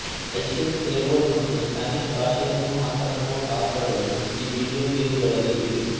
Haitian Creole ಮತ್ತು Spanish ಭಾಷೆಯನ್ನೂ ಮಾತನಾಡುವ ಪಾತ್ರಗಳೂ ಈ ವಿಡಿಯೋ ಗೇಂಗಳಲ್ಲಿ ಇವೆ